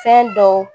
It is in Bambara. Fɛn dɔw